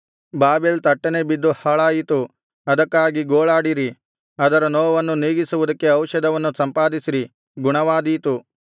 Babel ತಟ್ಟನೆ ಬಿದ್ದು ಹಾಳಾಯಿತು ಅದಕ್ಕಾಗಿ ಗೋಳಾಡಿರಿ ಅದರ ನೋವನ್ನು ನೀಗಿಸುವುದಕ್ಕೆ ಔಷಧವನ್ನು ಸಂಪಾದಿಸಿರಿ ಗುಣವಾದೀತು